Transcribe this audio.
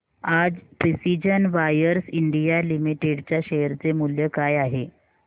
आज precision wires India limited च्या share चे मूल्य काय आहे